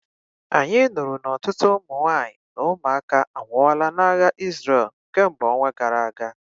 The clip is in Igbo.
Anyị nụrụ na ọtụtụ ụmụ nwanyị na ụmụaka anwụọla n'agha Isreal kemgbe ọnwa gara aga